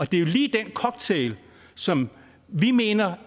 det er jo lige den cocktail som vi mener